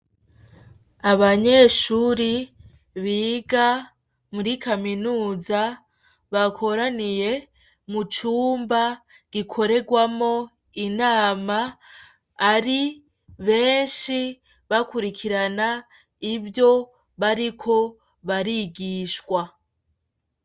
Abanyeshure biga muri kaminuza bakoraniye mucumba gikorerwamwo inama iri benshi bakurikirana ivyo bariko barigishwa.